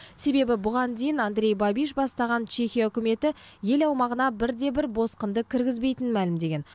себебі бұған дейін андрей бабиш бастаған чехия үкіметі ел аумағына бірде бір босқынды кіргізбейтінін мәлімдеген